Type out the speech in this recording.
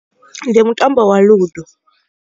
Ndi mutambo wa Ludo.